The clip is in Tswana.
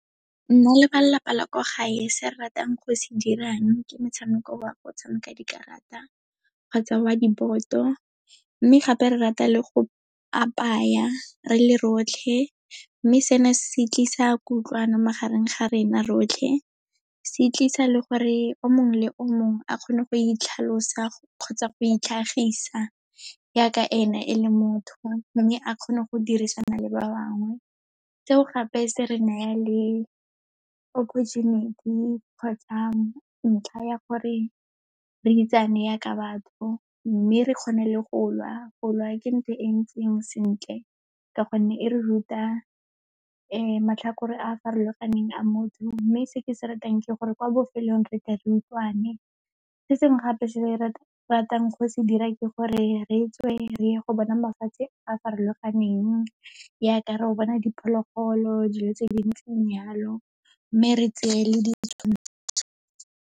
Nna le balelapa la kwa gae se ratang go se dirang ke motshameko wa go tshameka dikarata kgotsa wa di-board-to. Mme gape, re rata le go apaya re le rotlhe, mme seno se se tlisa kutlwano magareng ga rena rotlhe, se tlisa le gore o mongwe le o mongwe a kgone go itlhalosa kgotsa go itlhagisa yaaka ena e le motho, mme a kgone go dirisana le ba bangwe. Seo gape, se re naya le opportunity kgotsa ntlha ya gore re itsane yaaka batho, mme re kgone le go lwa, go lwa ke ntho e ntseng sentle, ka gonne e re ruta matlhakore a a farologaneng a motho, mme se ke se ratang ke gore kwa bofelong, re tle re utlwane. Se sengwe gape se re ratang go se dira ke gore re tswe, re ye go bona mafatshe a a farologaneng, yaaka ro bona diphologolo, dilo tse dintseng jalo, mme re tse le .